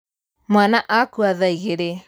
Mwana akua thaa igĩrĩ.